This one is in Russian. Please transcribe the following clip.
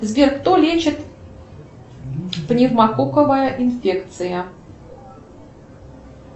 сбер кто лечит пневмококковая инфекция